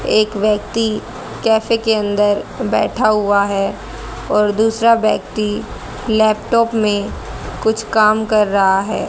एक व्यक्ति कैफे के अंदर बैठा हुआ है और दूसरा व्यक्ति लैपटॉप में कुछ काम कर रहा है।